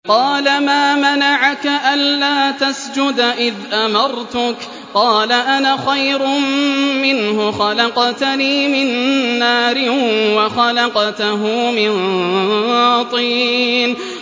قَالَ مَا مَنَعَكَ أَلَّا تَسْجُدَ إِذْ أَمَرْتُكَ ۖ قَالَ أَنَا خَيْرٌ مِّنْهُ خَلَقْتَنِي مِن نَّارٍ وَخَلَقْتَهُ مِن طِينٍ